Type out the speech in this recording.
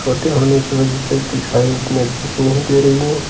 छोटी होने की वजह से दिखाई उतनी अच्छी से नहीं दे रही है।